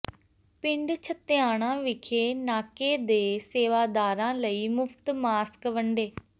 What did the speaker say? ਪਿੰਡ ਛੱਤਿਆਣਾ ਵਿਖੇ ਨਾਕੇ ਦੇ ਸੇਵਾਦਾਰਾਂ ਲਈ ਮੁਫ਼ਤ ਮਾਸਕ ਵੰਡੇ